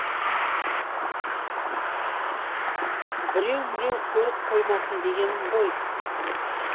біреу міреу көріп қоймасын дегенім ғой